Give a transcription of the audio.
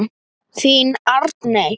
Þín Arney.